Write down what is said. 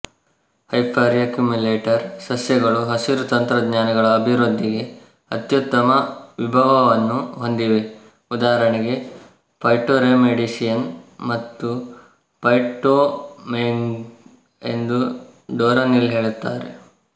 hyperaccumulator ಸಸ್ಯಗಳು ಹಸಿರು ತಂತ್ರಜ್ಞಾನಗಳ ಅಭಿವೃದ್ಧಿಗೆ ಅತ್ಯುತ್ತಮ ವಿಭವವನ್ನು ಹೊಂದಿವೆ ಉದಾಹರಣೆಗೆ ಫೈಟೊರೆಮಿಡಿಯೇಶನ್ ಮತ್ತು ಫೈಟೊಮಯ್ನಿಂಗ್ ಎಂದು ಡೊರೊನಿಲ್ಲ ಹೇಳುತ್ತಾರೆ